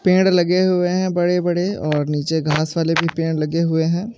लगे हुए है बडे बडे और निचे घास वाले भी पेड लगे हुए हे ।